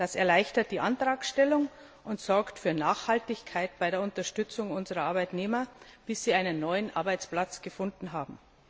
Das erleichtert die Antragstellung und sorgt für Nachhaltigkeit bei der Unterstützung unserer Arbeitnehmer, bis sie einen neuen Arbeitsplatz gefunden haben.